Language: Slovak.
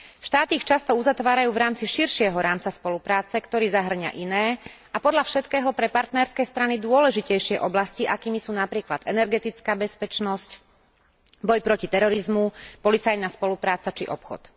Štáty ich často uzatvárajú v rámci širšieho rámca spolupráce, ktorý zahŕňa iné a podľa všetkého pre partnerské strany dôležitejšie oblasti, akými sú napríklad energetická bezpečnosť, boj proti terorizmu, policajná spolupráca či obchod.